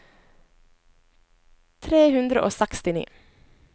tre hundre og sekstini